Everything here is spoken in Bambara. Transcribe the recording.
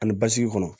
Ani basigi kɔnɔ